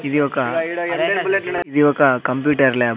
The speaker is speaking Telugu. ఇది ఒక ఇది ఒక కంప్యూటర్ ల్యాబ్ .